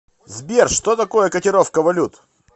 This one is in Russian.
сбер что такое котировка валют